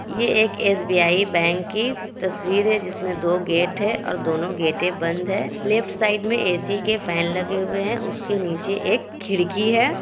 ये एक SBI bank की तस्वीर है। जिसमें दो गेट है और दोनों गेटे बंद है। लेफ्ट साइड में ए_सी के फैन लगे हुए है। उसके नीचे एक खिड़की है।